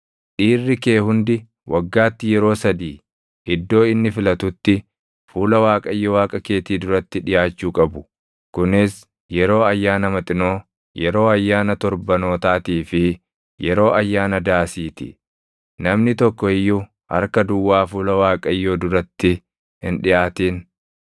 Dhiirri kee hundi waggaatti yeroo sadii iddoo inni filatutti fuula Waaqayyo Waaqa keetii duratti dhiʼaachuu qabu; kunis yeroo Ayyaana Maxinoo, yeroo Ayyaana Torbanootaatii fi yeroo Ayyaana Daasii ti. Namni tokko iyyuu harka duwwaa fuula Waaqayyoo duratti hin dhiʼaatin: